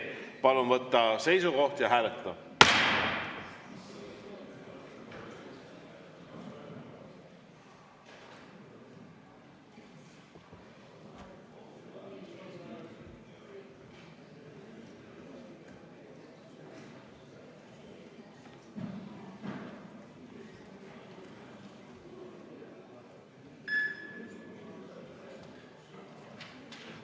Palun võtta seisukoht ja hääletada!